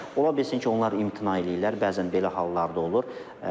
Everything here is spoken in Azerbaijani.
Ola bilsin ki, onlar imtina eləyirlər, bəzən belə hallar da olur.